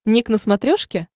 ник на смотрешке